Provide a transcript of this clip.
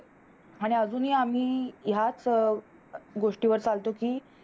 अजूनही आम्ही ह्याच गोष्टीवर चालतो कि,